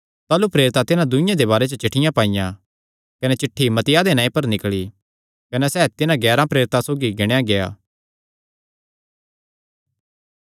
ताह़लू प्रेरितां तिन्हां दूँई दे बारे च चिठ्ठियां पाईयां कने चिठ्ठी मत्तियाह दे नांऐ पर निकल़ी कने सैह़ तिन्हां ग्यारां प्रेरितां सौगी गिणेया गेआ